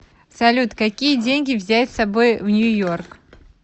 салют какие деньги взять с собой в нью йорк